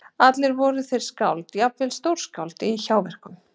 Allir voru þeir skáld, jafnvel stórskáld- í hjáverkum.